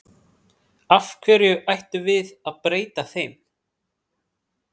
Af hverju ættum við að breyta þeim?